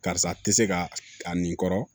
Karisa tɛ se ka a nin kɔrɔ